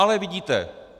Ale vidíte!